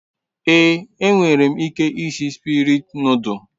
Ee, E nwerem ike isi Spirit noduls